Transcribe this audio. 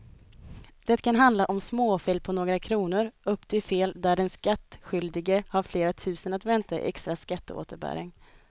Det kan handla om småfel på några kronor upp till fel där den skattskyldige har flera tusen att vänta i extra skatteåterbäring.